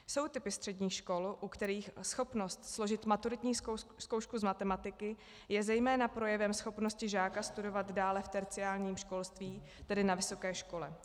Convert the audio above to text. Jsou typy středních škol, u kterých schopnost složit maturitní zkoušku z matematiky je zejména projevem schopnosti žáka studovat dále v terciárním školství, tedy na vysoké škole.